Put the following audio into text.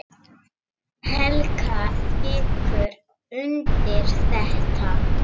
Helga tekur undir þetta.